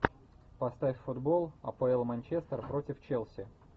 поставь футбол апл манчестер против челси